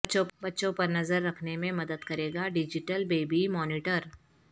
بچوں پر نظر رکھنے میں مدد کرے گا ڈجیٹل بے بی مانیٹر